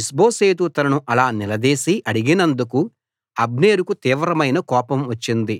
ఇష్బోషెతు తనను అలా నిలదీసి అడిగినందుకు అబ్నేరుకు తీవ్రమైన కోపం వచ్చింది